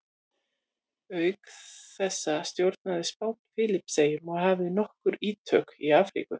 auk þessa stjórnaði spánn filippseyjum og hafði nokkur ítök í afríku